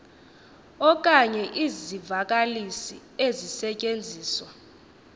okanye izivakalisi ezisetyenziswa